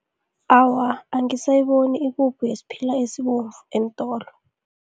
Awa, angisayiboni ipuphu yesiphila esibomvu eentolo.